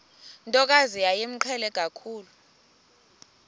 ntokazi yayimqhele kakhulu